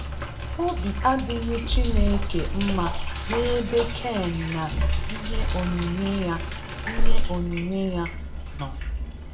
Obi adịghị Chineke mma n'ebe Cain na ihe onyinye ya ihe onyinye ya nọ.